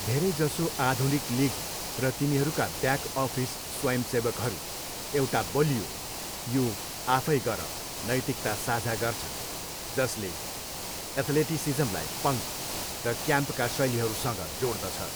धेरैजसो आधुनिक लिग र तिनीहरूका ब्याक अफिस स्वयंसेवकहरू एउटा बलियो ''यो आफै गर'' नैतिकता साझा गर्छन्, जसले एथलेटिसिज्मलाई पङ्क र क्याम्पका शैलीहरूसँग जोड्दछ।